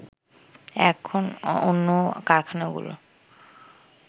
এখন অন্য কারখানাগুলোর